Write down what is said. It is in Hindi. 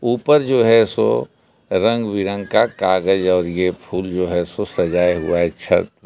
ऊपर जो है सो रंग बिरंग का कागज और ये फूल जो है सजाया हुआ है छत पर।